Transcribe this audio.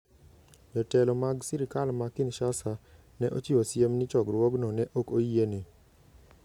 Jotelo mag sirkal ma Kinshasa ne ochiwo siem ni chokruogno ne ok oyiene.